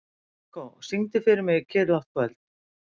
Marikó, syngdu fyrir mig „Kyrrlátt kvöld“.